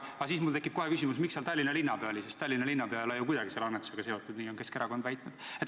Aga siis tekib mul kohe küsimus, miks Tallinna linnapea seal kohal oli, sest Tallinna linnapea ei ole ju kuidagi selle annetusega seotud – nii on Keskerakond väitnud.